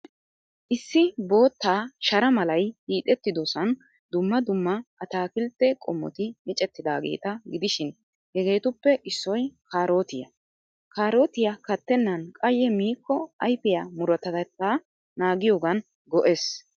Issi bootta shara malay hiixettidosan dumma dumma ataakiltte qommoti micettidaageeta gidishin, hegeetuppe issoy kaarootiyaa. Kaarotiyaa kattennan qayye miikko ayfiyaa murutatettaa naagiyoogan go'ees.